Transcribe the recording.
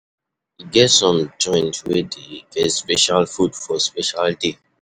E get some joint wey dey get special food for special day